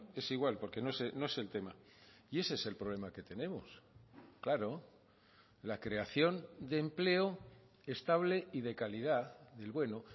es igual porque no es el tema y ese es el problema que tenemos claro la creación de empleo estable y de calidad del bueno